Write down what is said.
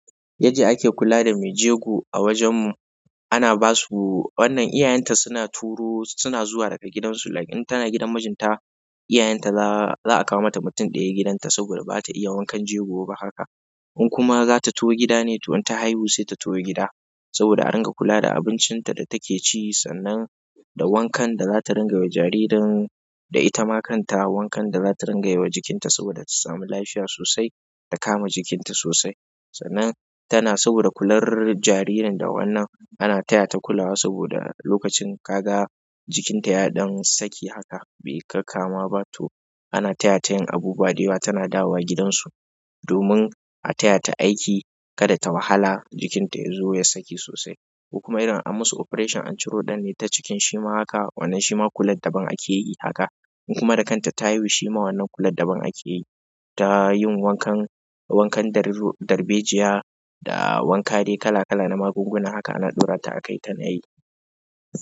Yanda ake kula da mai jego a wajen mu. Ana ba su, wannan iyayenta suna turo, suna zuwa daga gidansu like in tana gidan mijinta, iyayenta za a kawo mata mutum ɗaya gidan ta saboda ba ta iya wankan jego ba haka. Kuma zata taho gida ne inta haihu se sbd a dinga kula da abincin da take ci da wankan da za ta ringa yiwa jaririn da ita ma kan ta wankan da za ta ringa yiwa jikin ta saboda ta samu lafiya sosai da kama jikin ta sosai. Sannan tana saboda kular jaririn da wannan ana taya ta kulawa saboda lokacin ka ga jikin ta ya ɗan saki haka bai kakama ba to ana taya ta yin abubuwa da ita tana dawowa gidansu domin a taya ta aiki kada ta wahala jikin ta ya zo ya saki sosai. Kuma irin an musu operation, an ciro ɗan ne ta cikin shi ma haka wannan shi ma kular daban ake yi haka. In kuma da kanta ta haihu shi ma wannan kular daban ake yi. Ta yin wankan, wankan darbejiya da wanka dai kala kala na magunguna haka ana ɗora ta a kai ta na yi.